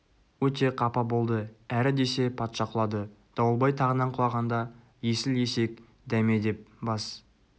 өте қапа болды әрі десе патша құлады дауылбай тағынан құлағанда есіл есек дәме деп бас